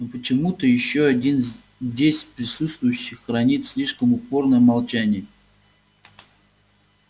но почему-то ещё один здесь присутствующий хранит слишком упорное молчание